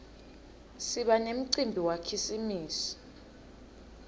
siba nemcimbi wakhisimusi